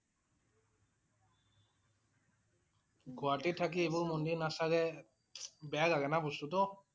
গুৱাহাটীত থাকি এইবোৰ মন্দিৰ নাচালে, বেয়া লাগে না বস্তু টো